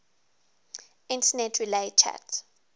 internet relay chat